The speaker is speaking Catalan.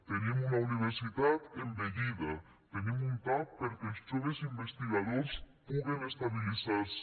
tenim una universitat envellida tenim un tap perquè els joves investigadors puguen estabilitzar se